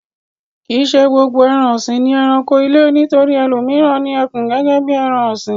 Kì í ṣe gbogbo ẹran-ọ̀sìn ni ẹranko ilé. Nítorí ẹlòmíràn ni ẹkùn gẹ́gẹ́ bí ẹran-ọ̀sìn.